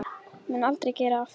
Mun aldrei gera aftur.